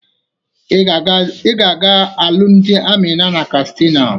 Ị ga-aga alụmdị Amina na Kastina.